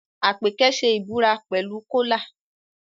Àpèkẹ́ ṣe ìbúra pẹ̀lú Kọ́lá